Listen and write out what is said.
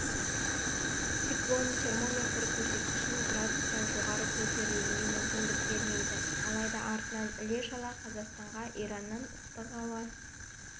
циклон термометр көрсеткішін градустан жоғары көтерілуіне мүмкіндік бермейді алайда артынан іле-шала қазақстанға ираннан ыстық ауа